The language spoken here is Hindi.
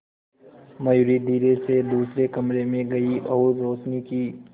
मयूरी धीरे से दूसरे कमरे में गई और रोशनी की